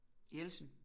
Jeltsin